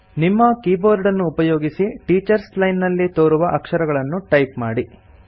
ನಿಮ್ಮ ಕೀಬೋರ್ಡನ್ನು ಉಪಯೊಗಿಸಿ ಟೀಚರ್ಸ್ ಲೈನ್ ನಲ್ಲಿ ತೋರುವ ಅಕ್ಷರಗಳನ್ನು ಟೈಪ್ ಮಾಡಿ